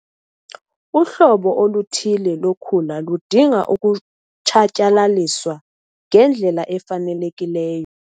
Uhlobo oluthile lokhula ludinga ukutshatyalaliswa ngendlela efanelekileyo.